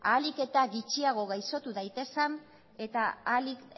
ahalik eta gutxiago gaixotu daitezen eta ahalik